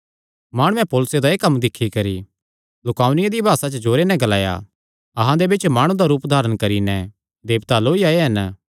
माणुआं पौलुसे दा एह़ कम्म दिक्खी करी लुकाऊनिया दी भासा च जोरे नैं ग्लाया अहां दे बिच्च माणु दा रूप धारण करी नैं देवता लौई आये हन